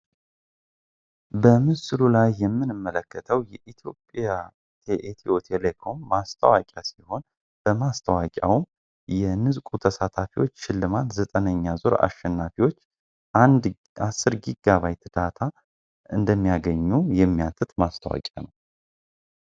በምስሉ ላይ የምንመለከተው የኢትዮጵያ ኤቲዮቴሌኮም ማስተዋቂያ ሲሆን በማስተዋቂያውም የንፅቁ ተሳታፊዎች ሽልማት 9ነኛ ዙር አሸናፊዎች 1 እስከ 10 ጊጋባይት ዳታ እንደሚያገኙ የሚያትት ማስተዋቂያ ነው።